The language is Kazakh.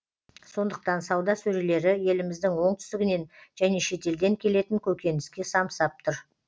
сондықтан сауда сөрелері еліміздің оңтүстігінен және шетелден келетін көкөніске самсап тұр